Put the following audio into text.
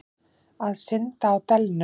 Að synda á delunum.